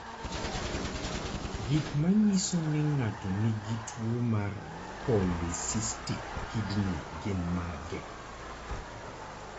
Gik manyiso ni ng'ato nigi tuwo mar polycystic kidney gin mage?